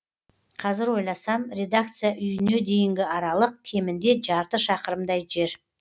қазір ойласам редакция үйіне дейінгі аралық кемінде жарты шақырымдай жер